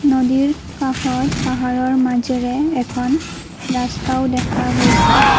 নদীৰ কাষত পাহাৰৰ মাজেৰে এখন ৰাস্তাও দেখা গৈছে।